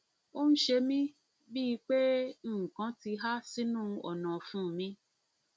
ó ń ṣe mí bíi pé nǹkan pé nǹkan kan ti há sínú ọnà ọfun mi